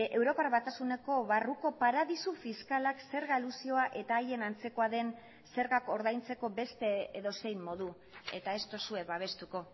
europar batasuneko barruko paradisu fiskalak zerga elusioa eta haien antzekoa den zergak ordaintzeko beste edozein modu eta ez duzue babestuko